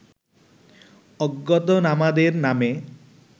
অজ্ঞাতনামাদের নামে